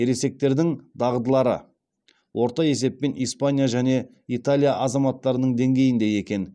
ересектердің дағдылары орта есеппен испания және италия азаматтарының деңгейінде екен